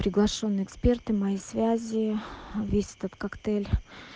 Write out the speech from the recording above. приглашённые эксперты мои связи весь этот коктейль